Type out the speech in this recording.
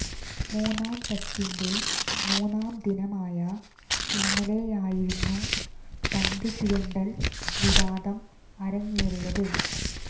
മൂന്നാം ടെസ്റ്റിന്റെ മൂന്നാം ദിനമായ ഇന്നലെയായിരുന്നു പന്ത് ചുരണ്ടൽ വിവാദം അരങ്ങേറിയത്